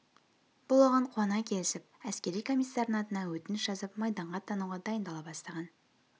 бұл оған қуана келісіп әскери комиссардың атына өтініш жазып майданға аттануға дайындала бастаған